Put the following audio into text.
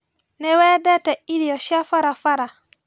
Nĩwendete irio cia barabara?